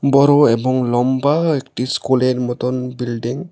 বড়ো এবং লম্বা একটি স্কুলের মতন বিল্ডিং ।